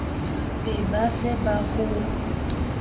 be ba se ba ho